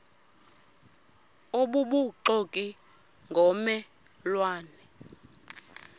obubuxoki ngomme lwane